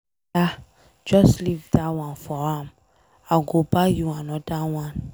Ada just leave dat one for am I go buy you another one.